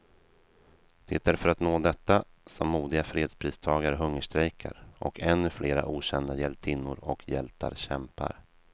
Det är för att nå detta som modiga fredspristagare hungerstrejkar, och ännu flera okända hjältinnor och hjältar kämpar.